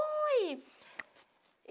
Oi!